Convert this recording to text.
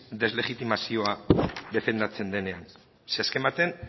deslegitimazioa defendatzen denean ze azken batean